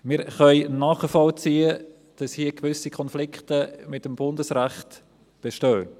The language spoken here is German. Wir können nachvollziehen, dass hier gewisse Konflikte mit dem Bundesrecht bestehen.